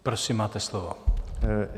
Prosím, máte slovo.